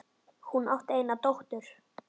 Hún átti eina dóttur.